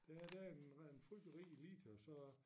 Der er der en har en frygtelig rig elite og så